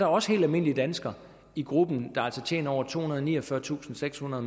også helt almindelige danskere i gruppen der altså tjener over tohundrede og niogfyrretusindsekshundrede